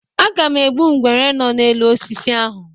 Aga m egbu nwere nọ n'elu osisi ahụ.